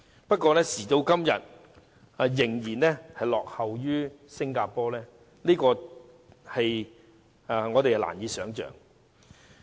可是，時至今日，香港竟然落後於新加坡，這是難以想象的。